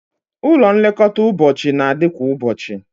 Ụlọ nlekọta ụbọchị na-adị kwa ụbọchị